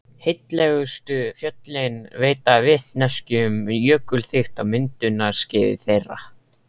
Heillegustu fjöllin veita vitneskju um jökulþykkt á myndunarskeiði þeirra.